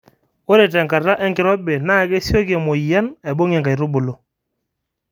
Ore enkata enkirobi naa kesioki emoyiani aibung inkaitubulu